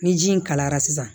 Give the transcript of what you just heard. Ni ji in kalayara sisan